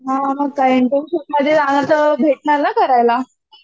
हो मग काय इंटर्नशिप मधे भेटणार ना करायला